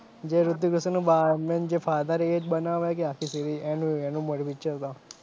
જે રિતિક રોશનનો main જે father એજ બનાવે કે આખી series એનું મોટું picture હતો.